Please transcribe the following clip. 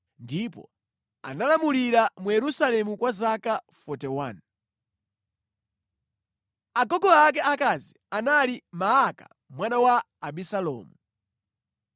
ndipo analamulira mu Yerusalemu kwa zaka 41. Agogo ake akazi anali Maaka mwana wa Abisalomu.